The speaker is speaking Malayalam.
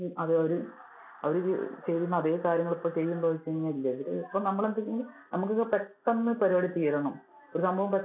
അത് അവര് ചെയ്യുന്ന അതെ കാര്യങ്ങള് ഇപ്പൊ ചെയ്യുന്നുണ്ടോ എന്ന് ചോദിച്ചു കഴിഞ്ഞാൽ ഇല്ല. നമുക്ക് ഒക്കെ പെട്ടെന്ന് പരുപാടി തീരണം, ഒരു സംഭവം